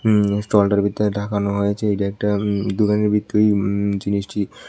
উম স্টলটার ভিতরে ঢাকানো হয়েছে এইটা একটা উ দোকানের ভিতরের উম জিনিসটি।